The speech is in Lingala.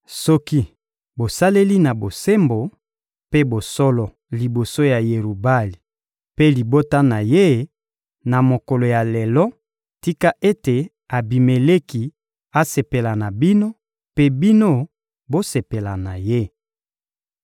Soki bosaleli na bosembo mpe bosolo liboso ya Yerubali mpe libota na ye, na mokolo ya lelo, tika ete Abimeleki asepela na bino, mpe bino bosepela na ye!